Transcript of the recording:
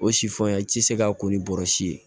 O si fan i ti se ka ko ni bɔrɔsi ye